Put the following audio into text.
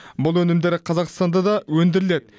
бұл өнімдер қазақстанда да өндіріледі